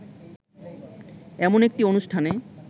এমন একটি অনুষ্ঠানে